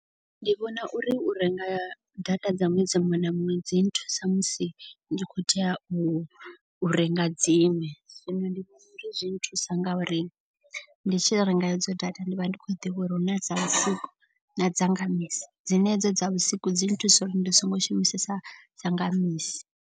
Ndi vhona uri u renga data dza ṅwedzi muṅwe na muṅwe dzi nthusa musi ndi khou tea u renga dzi ṅwe. Zwino ndi vhona uri zwi nthusa nga uri ndi tshi renga edzo data ndi vha ndi khou ḓivha uri hu na dza vhusiku na dzanga misi. Dzine hedzo dza vhusiku dzi nthusa uri ndi songo shumisesa dzanga misi.